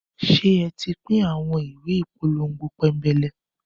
Ṣé ẹ ti pín àwọn ìwé ìpolongo pénbélé?